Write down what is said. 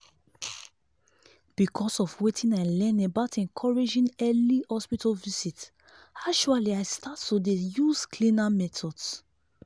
because of wetin i learn about encouraging early hospital visit actually i start to dey use cleaner methods.